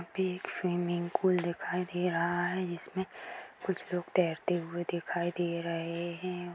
यहा पे एक स्विमिंग पूल दिखाई दे रहा है जिसमे कुछ लोग तैरते हुए दिखाई दे रहे है।